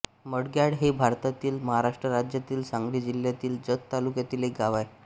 मडग्याळ हे भारतातील महाराष्ट्र राज्यातील सांगली जिल्ह्यातील जत तालुक्यातील एक गाव आहे